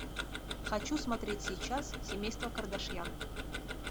хочу смотреть сейчас семейство кардашьян